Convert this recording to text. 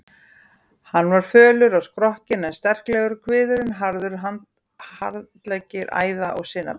Hann var fölur á skrokkinn en sterklegur, kviðurinn harður, handleggir æða- og sinaberir.